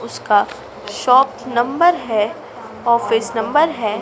उसका shop number है office number है।